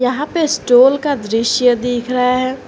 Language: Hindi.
यहां पे स्टोल का दृश्य देख रहा है।